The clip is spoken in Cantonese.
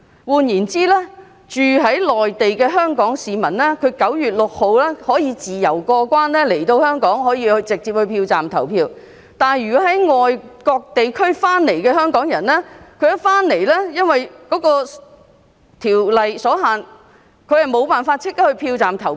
換言之，居住在內地的香港市民在9月6日可以自由過關來香港直接到票站投票，但從外國地區回來的香港人，則因為規例所限無法立即到票站投票。